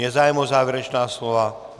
Je zájem o závěrečná slova?